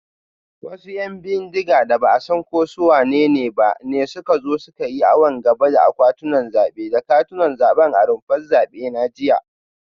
Wasu ‘yan bindiga da ba a san ko su wanene ba ne suka zo suka yi awon gaba da akwatunan zabe da katunan zabe a rumfar zabe na jiya